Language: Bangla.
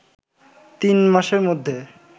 তিন মাসের মধ্যে